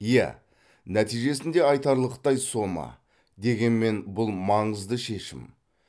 иә нәтижесінде айтарлықтай сома дегенмен бұл маңызды шешім